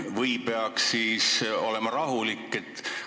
Või peaks olema rahulik?